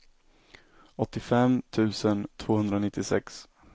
åttiofem tusen tvåhundranittiosex